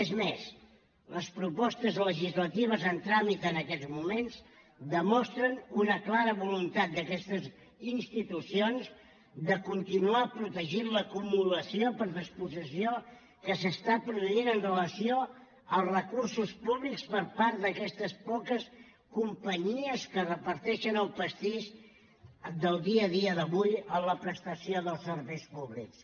és més les propostes legislatives en tràmit en aquests moments demostren una clara voluntat d’aquestes institucions de continuar protegint l’acumulació per despossessió que s’està produint amb relació als recursos públics per part d’aquestes poques companyies que es reparteixen el pastís del dia a dia d’avui en la prestació dels serveis públics